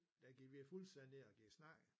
Der gik vi fuldstændig i snakken